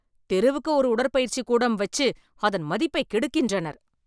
தெருவுக்கு ஒரு உடற்பயிற்சி கூடங்கள் வைச்சு அதன் மதிப்பை கெடுக்கின்றனர்.